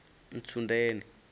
ntsundeni